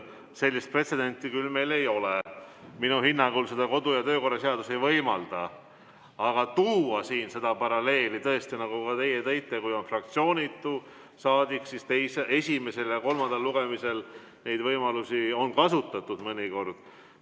Sellist pretsedenti küll meil ei ole, minu hinnangul seda kodu- ja töökorra seadus ei võimalda, aga kui tuua siin paralleeli, tõesti, nagu teie tõite, kui on fraktsioonitu saadik, siis esimesel ja kolmandal lugemisel neid võimalusi on kasutatud mõnikord.